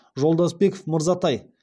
жолдасбеков мырзатай